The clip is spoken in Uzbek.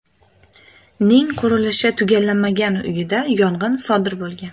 ning qurilishi tugallanmagan uyida yong‘in sodir bo‘lgan.